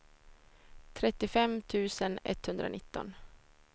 trettiofem tusen etthundranitton